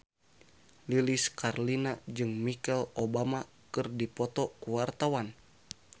Lilis Karlina jeung Michelle Obama keur dipoto ku wartawan